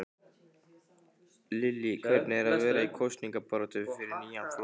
Lillý: Hvernig er það vera í kosningabaráttu fyrir nýjan flokk?